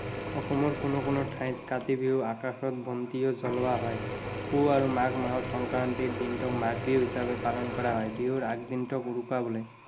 অসমৰ কোনো কোনো ঠাইত কাতি বিহুত আকাশ বন্তিও জ্বলোৱা হয়। পুহ আৰু মাঘ মাহৰ সংক্ৰান্তিৰ দিনটোক মাঘ বিহু হিচাপে পালন কৰা হয়। বিহুৰ আগদিনটোক উৰুকা বোলে।